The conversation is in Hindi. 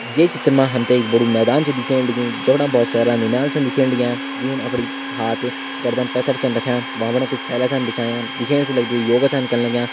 ये चित्र मा हम त एक बड़ू मैदान छ दिखेण लग्युं जो बिटिन बहोत सारा नौनियाल छन दिखेण लग्यां जून अपड़ी हाथ गर्दन पैंथर छन रख्यां। भ्वां पर कुछ थैला छन बिछायां। दिखेण से लगदु ये योग छन कन लग्यां।